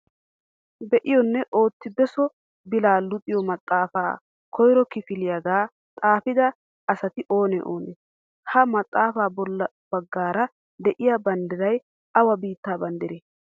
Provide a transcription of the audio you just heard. Be'iyonne ootti beso bilaa luxiyo maxaafaa koyro kifiliyagaa xaafida asati oonee oonee? Ha maxaafa bolla bagaara de'iya banddiray awa biittaa banddiree?